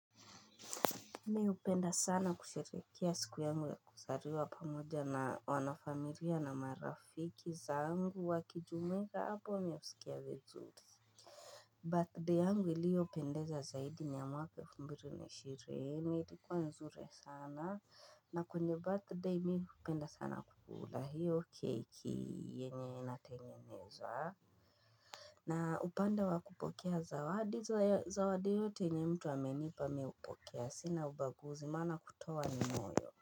Mimi hupenda sana kusherehekea siku yangu ya kuzaliwa pamoja na wanafamilia na marafiki zangu wakijumuika hapo ninasikia vizuri Birthday yangu iliyopendeza zaidi ni ya mwaka elfu mbili na ishirini ilikuwa nzuri sana na kwenye birthday mimi hupenda sana kukula hiyo keki yenye natengeneza na upande wa kupokea zawadi zawadi yote yenye mtu amenipa mimi hupokea sina ubaguzi maana kutoa ni moyo.